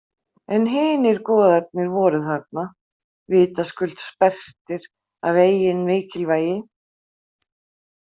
En hinir goðarnir voru þarna vitaskuld sperrtir af eigin mikilvægi.